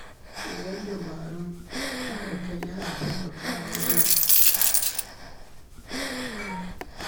Koyon dabarun kare kai yana taimakawa wajen hana faɗawa cikin haɗari.